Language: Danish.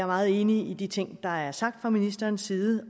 meget enig i de ting der er sagt fra ministerens side